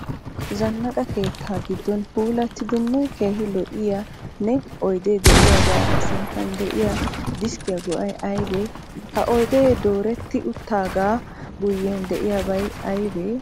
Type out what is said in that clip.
Zannaqa keetta giddon puulattidanne keehi lo'iyaanne oydee diyaagaa sinttan diyaa deskkiya go'ay aybee? Ha oydee dooretti uttaagaa guyyen diyaabay aybee?